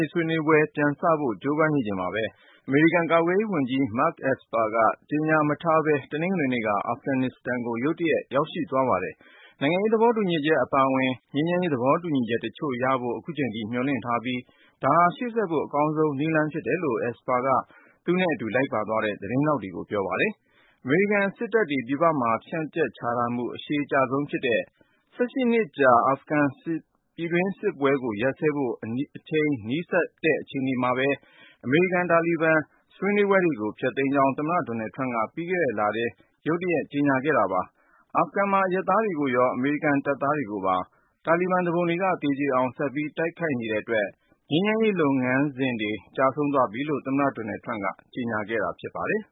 ေးဆွေးနွေးပွဲ ပြန်စဖို့ ကြိုးပမ်းနေချိန်မှာပဲ အမေရိကန် ကာကွယ်ရေးဝန်ကြီး Mark Esper က ကြေညာမထားပဲ တနင်္ဂနွေနေ့က အာဖဂန်နစ္စတန်နိုင်ငံကို ရုတ်တရက် ရောက်ရှိသွားပါတယ်။ နိုင်ငံရေးသဘောတူညီချက် အပါအဝင်၊ ငြိမ်းချမ်းရေး သဘောတူညီချက်တချို့ ရဖို့ ခုချိန်ထိ မျှော်လင့်ထားပြီး ဒါဟာ ရှေ့ဆက်ဖို့ အကောင်းဆုံးနည်း ဖြစ်တယ်လို့ Esper က သူနဲ့အတူ လိုက်ပါသွားတဲ့ သတင်းထောက်တွေကို ပြောပါတယ်။ အမေရိကန်စစ်တပ်တွေ ပြည်ပမှာ ဖြန့်ကြက်ချထားမှု အရှည်ကြာဆုံးဖြစ်တဲ့ ၁၈ နှစ်ကြာ အာဖဂန်ပြည်တွင်းစစ်ကို ရပ်စဲဖို့ အနီးစပ်ဆုံး အခြေအနေ ရောက်လာချိန်မှာ အမေရိကန်-တာလီဘန် ဆွေးနွေးပွဲတွေကို ဖျက်သိမ်းကြောင်း သမ္မတ Donald Trump က ပြီးခဲ့တဲ့လထဲ ရုတ်တရက် ကြေညာခဲ့တာပါ။ အာဖဂန်မှာ အရပ်သားတွေကိုရော အမေရိကန်တပ်သားတွေကိုပါ တာလီဘန်သူပုန်တွေက သေကျေအောင် ဆက်ပြီး တိုက်ခိုက်နေတဲ့အတွက် ငြိမ်းချမ်းရေးလုပ်ငန်းစဉ် ကျဆုံးသွားပြီလို့ သမ္မတ Donald Trump က ကြေညာခဲ့တာ ဖြစ်ပါတယ်